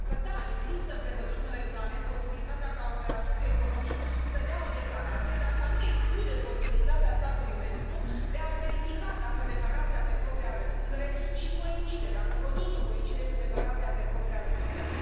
pentru că da, există prevăzută în regulament posibilitatea ca operatorul economic să dea o declarație, dar aceasta nu exclude posibilitatea statului membru de a verifica dacă declarația pe propria răspundere și coincide, dacă produsul coincide cu declarația pe propria răspundere.